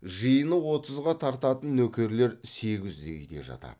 жиыны отызға тартатын нөкерлер сегізде үйде жатады